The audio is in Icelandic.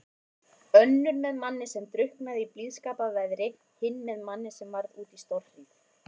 Önnur með manni sem drukknaði í blíðskaparveðri, hin með manni sem varð úti í stórhríð.